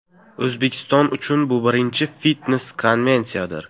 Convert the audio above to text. O‘zbekiston uchun bu birinchi fitnes-konvensiyadir.